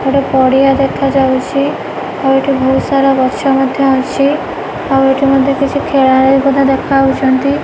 ଗୋଟେ ପଡିଆ ଦେଖା ଯାଉଛି ଆଉ ଏଠି ବହୁତ ସାରା ଗଛ ମଧ୍ୟ ଅଛି ଆଉ ଏଠି ମଧ୍ୟ କିଛି ଖେଳଳି ଦେଖା ଯାଉଛନ୍ତି।